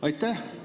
Aitäh!